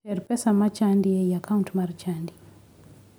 Ter pesa mar chadi e akaunt mar chadi.